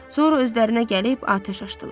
Sonra özlərinə gəlib atəş açdılar.